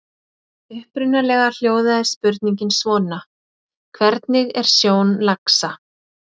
Upprunalega hljóðaði spurningin svona: Hvernig er sjón laxa?